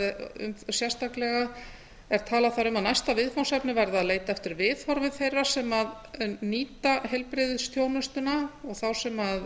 er talað þar um að næsta viðfangsefni verði að leita eftir viðhorfum þeirra sem nýta heilbrigðisþjónustuna og þá sem